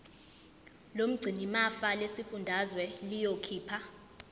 lomgcinimafa lesifundazwe liyokhipha